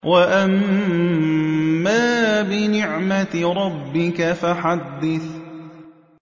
وَأَمَّا بِنِعْمَةِ رَبِّكَ فَحَدِّثْ